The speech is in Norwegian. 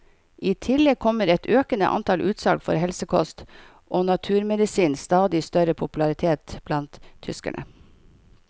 I tillegg kommer et økende antall utsalg for helsekost og naturmedisinens stadig større popularitet blant tyskerne.